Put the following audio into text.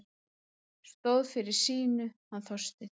Stóð fyrir sínu, hann Þorsteinn.